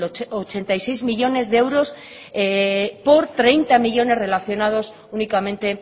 ochenta y seis millónes de euros por treinta millónes relacionados únicamente